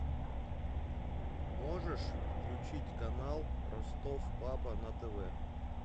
можешь включить канал ростов папа на тв